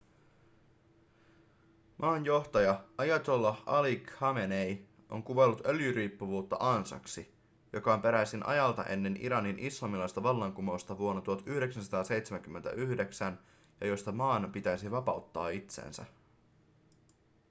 maan johtaja ayatollah ali khamenei on kuvaillut öljyriippuvuutta ansaksi joka on peräisin ajalta ennen iranin islamilaista vallankumousta vuonna 1979 ja josta maan pitäisi vapauttaa itsensä